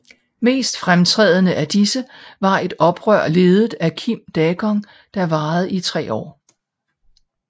Mest fremtrædende af disse var et oprør ledet af Kim Daegong der varede i tre år